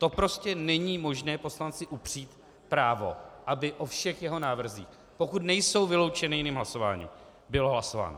To prostě není možné poslanci upřít právo, aby o všech jeho návrzích, pokud nejsou vyloučeny jiným hlasováním, bylo hlasováno.